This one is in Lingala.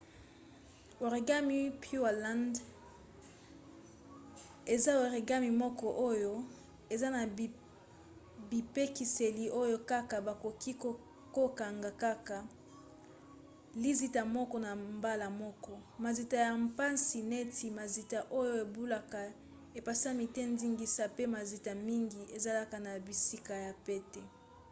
origami pureland eza origami moko oyo eza na bipekiseli oyo kaka bakoki kokanga kaka lizita moko na mbala moko mazita ya mpasi neti mazita oyo ebaluka epesami te ndingisa pe mazita mingi ezalaka na bisika ya pete